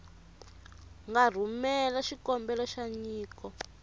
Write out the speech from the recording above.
nga rhumela xikombelo xa nyiko